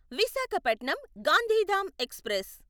Visakhapatnam Gandhidham express